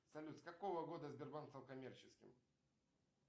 салют с какого года сбербанк стал коммерческим